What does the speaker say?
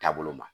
Taabolo ma